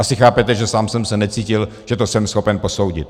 Asi chápete, že sám jsem se necítil, že to jsem schopen posoudit.